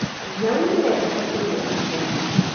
Nyau nĩ yendete kũnyua iria.